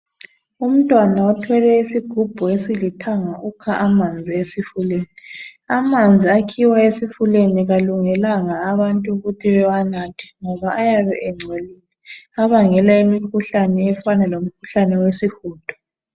Umntwana othwele isigubhu esilithanga ukha amanzi esifuleni amanzi akhiwa esifuleni awalungelanga abantu ukuthi bewanathe ngoba ayabe engcolile abangela imikhuhlane efana lomkhuhlane wesihudo.